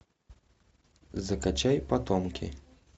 закачай потомки